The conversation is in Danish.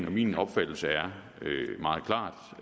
og min opfattelse er meget klart